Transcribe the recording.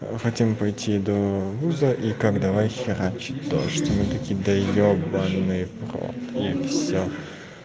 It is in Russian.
мы хотим пойти до груза и как давай херачить то что мы таки да ебанный в рот и все